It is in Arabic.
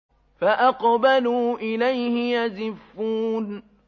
فَأَقْبَلُوا إِلَيْهِ يَزِفُّونَ